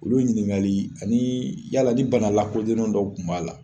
Olu ɲininkali ani yala ni bana lakodɔlen dɔ kun b'a la